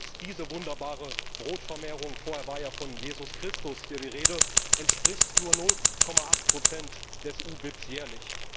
Selbst diese wunderbare Brotvermehrung vorher war ja von Jesus Christus hier die Rede entspricht nur 0,8 Prozent des EU BIP jährlich.